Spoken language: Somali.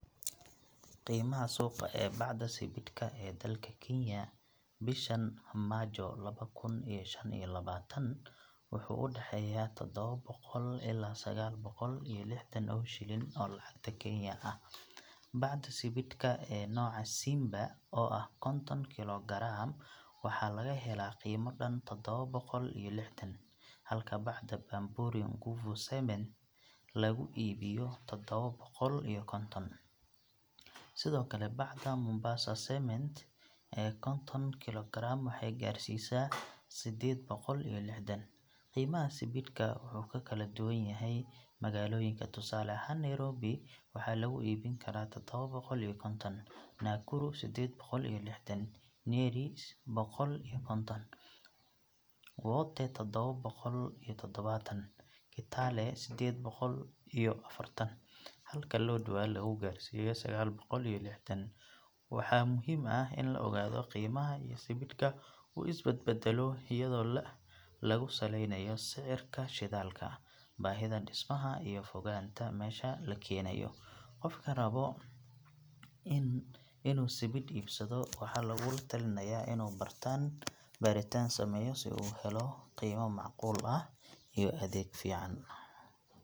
Qiimaha suuqa ee bacda sibidhka ee dalka Kenya bishan Maajo laba kun iyo shan iyo labaatan wuxuu u dhexeeyaa toddoba boqol ilaa sagaal boqol iyo lixdan oo shilin oo lacagta Kenya ah. Bacda sibidhka ee nooca Simba oo ah konton kiilo garaam waxaa laga helaa qiimo dhan toddoba boqol iyo lixdan, halka bacda Bamburi Nguvu Cement lagu iibiyo toddoba boqol iyo konton. Sidoo kale, bacda Mombasa Cement ee konton kiilo garaam waxay gaaraysaa siddeed boqol iyo lixdan. Qiimaha sibidhka wuxuu ku kala duwan yahay magaalooyinka, tusaale ahaan Nairobi waxaa lagu iibin karaa toddoba boqol iyo konton, Nakuru siddeed boqol iyo lixdan, Nyeri siddeed boqol iyo konton, Wote toddoba boqol iyo toddobaatan, Kitale siddeed boqol iyo afartan, halka Lodwar lagu gaarsiiyo sagaal boqol iyo lixdan. Waxaa muhiim ah in la ogaado in qiimaha sibidhka uu is bedbeddelo iyadoo lagu saleynayo sicirka shidaalka, baahida dhismaha, iyo fogaanta meesha la keenayo. Qofka raba inuu sibidh iibsado waxaa lagula talinayaa inuu baaritaan sameeyo si uu u helo qiimo macquul ah iyo adeeg fiican.